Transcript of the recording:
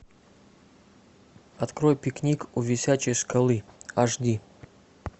открой пикник у висячей скалы аш ди